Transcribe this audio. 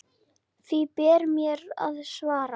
Því ber mér að svara.